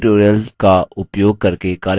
spoken tutorials का उपयोग करके कार्यशालाएँ भी चलाते हैं